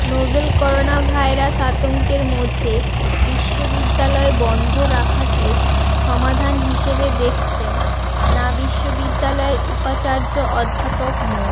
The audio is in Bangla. নভেল করোনাভাইরাস আতঙ্কের মধ্যে বিশ্ববিদ্যালয় বন্ধ রাখাকে সমাধান হিসেবে দেখছেন না বিশ্ববিদ্যালয়ের উপাচার্য অধ্যাপক মো